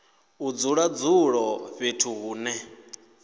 u dzula dzula fhethu hune